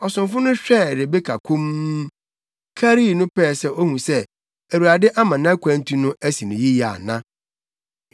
Ɔsomfo no hwɛɛ Rebeka komm, karii no pɛɛ sɛ ohu sɛ Awurade ama nʼakwantu no asi no yiye ana.